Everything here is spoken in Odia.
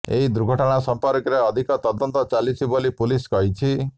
ଏହି ଦୁର୍ଘଟଣା ସଂପର୍କରେ ଅଧିକ ତଦନ୍ତ ଚାଲିଛି ବୋଲି ପୁଲିସ୍ କହିଛି